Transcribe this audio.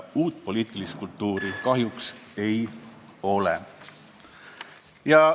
Uut poliitilist kultuuri kahjuks ei ole.